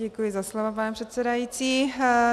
Děkuji za slovo, pane předsedající.